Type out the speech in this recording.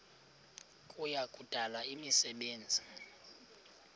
kuya kudala imisebenzi